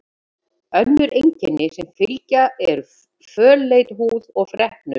Önnur einkenni sem fylgja eru fölleit húð og freknur.